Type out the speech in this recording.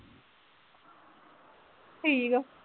ਠੀਕ ਆ।